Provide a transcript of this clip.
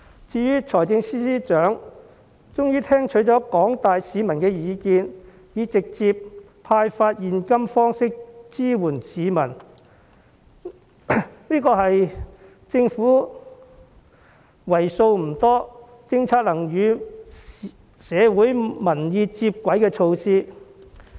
至於財政司司長終於聽取了廣大市民的意見，以直接派發現金方式支援市民，這是為數不多的政府政策與社會民意接軌措施。